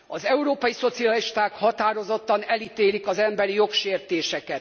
Az európai szocialisták határozottan elítélik az emberi jogok megsértését.